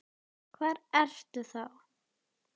Hvar ertu þá?